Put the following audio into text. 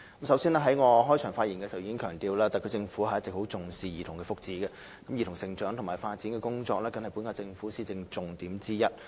首先，我在開場發言中已強調，特區政府一直非常重視兒童福祉，而兒童成長及發展工作更是本屆政府的施政重點之一。